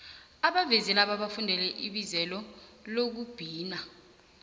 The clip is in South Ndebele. abavezi laba balifundele ibizelo lezokubhina